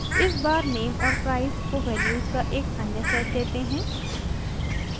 इस बार name और price को वैल्यूज़ का एक अन्य सेट देते हैं